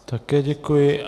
Také děkuji.